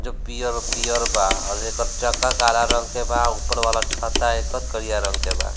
जो पियर और पियर बा अ जेकर चक्का काला रंग के बा ऊपर वाला छत्ता एकर करिया रंग के बा।